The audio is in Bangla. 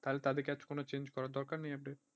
তাহলে তাদেরকে আর কোনো change করার দরকার নেই update